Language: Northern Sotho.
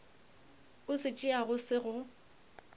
o se tšeago se go